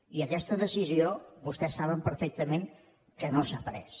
i aquesta decisió vostès saben perfectament que no s’ha pres